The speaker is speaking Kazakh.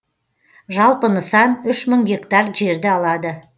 жалпы нысан үш мың гектар жерді алады